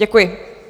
Děkuji.